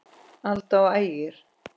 Alda og Ægir.